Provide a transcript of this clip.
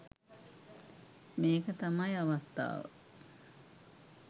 මේක තමයි අවස්ථාව